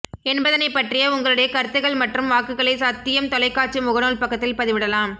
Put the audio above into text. என்பதனை பற்றிய உங்களுடைய கருத்துகள் மற்றும் வாக்குகளை சத்தியம் தொலைக்காட்சி முகநூல் பக்கத்தில் பதிவிடலாம்